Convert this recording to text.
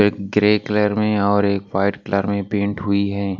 एक grey colour में और एक वाइट कलर में पेंट हुई है।